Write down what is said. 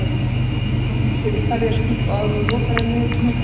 andi blótsyrði í hverja skúffu áður en hún lokar henni með hvelli.